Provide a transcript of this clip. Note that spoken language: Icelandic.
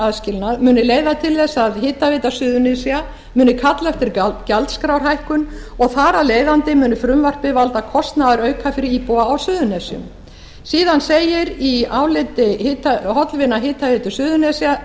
aðskilnað muni leiða til þess að hitaveita suðurnesja muni kalla eftir gjaldskrárhækkun og þar af leiðandi muni frumvarpið valda kostnaðarauka fyrir íbúa á suðurnesjum síðan segir í áliti hollvina suðurnesja